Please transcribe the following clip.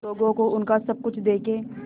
लोगों को उनका सब कुछ देके